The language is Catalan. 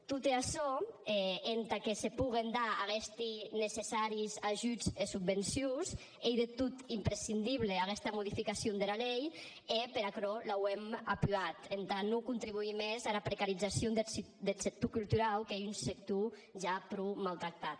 tot e açò entà que se poguen dar aguestes necessàries ajudes e subvencions ei de tot imprescindible aguesta modificacion dera lei e per aquerò l’auem apuat entà non contribuïr mès ara precarizacion deth sector culturau qu’ei un sector ja pro mautractat